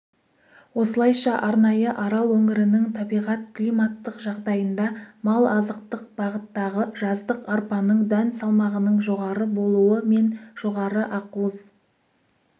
осылайша арнайы арал өңірінің табиғат-климаттық жағдайында мал азықтық бағыттағы жаздық арпаның дән салмағының жоғары болуы мен жоғары ақуыз